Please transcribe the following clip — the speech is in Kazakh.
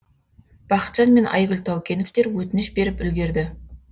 бақытжан мен айгүл таукеновтер өтініш беріп үлгерді